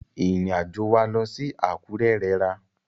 Ìrìn àjò wa lọ sí Àkúrẹ́ rẹra.